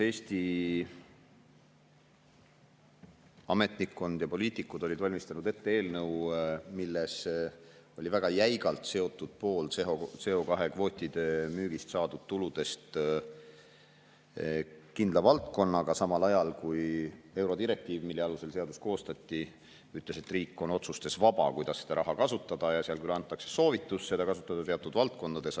Eesti ametnikkond ja poliitikud olid valmistanud ette eelnõu, milles oli väga jäigalt seotud pool CO2-kvootide müügist saadud tulust kindla valdkonnaga, samal ajal kui eurodirektiiv, mille alusel seadust koostati, ütles, et riik on vaba oma otsustes, kuidas seda raha kasutada, ja seal anti soovitus seda kasutada teatud valdkondades.